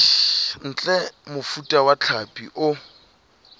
ntle mofuta wa hlapi o